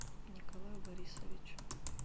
николаю борисовичу